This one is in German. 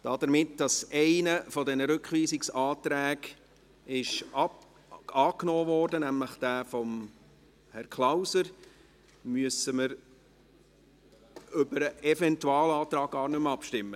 Dadurch, dass einer der beiden Rückweisungsanträge angenommen wurde, nämlich jener von Herrn Klauser, müssen wir gar nicht mehr über den Eventualantrag abstimmen.